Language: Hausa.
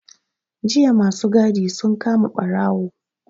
Jiya ma su gadi sun kama ɓarawo.